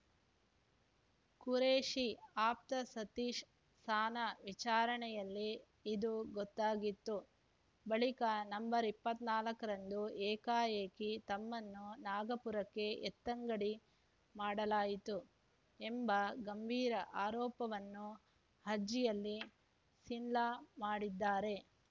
ಖುರೇಷಿ ಆಪ್ತ ಸತೀಶ್‌ ಸನಾ ವಿಚಾರಣೆಯಲ್ಲಿ ಇದು ಗೊತ್ತಾಗಿತ್ತು ಬಳಿಕ ನವೆಂಬರ್ ಇಪ್ಪತ್ತ್ ನಾಲ್ಕರಂದು ಏಕಾಏಕಿ ತಮ್ಮನ್ನು ನಾಗಪುರಕ್ಕೆ ಎತ್ತಂಗಡಿ ಮಾಡಲಾಯಿತು ಎಂಬ ಗಂಭೀರ ಆರೋಪವನ್ನು ಅರ್ಜಿಯಲ್ಲಿ ಸಿನ್ಹಾ ಮಾಡಿದ್ದಾರೆ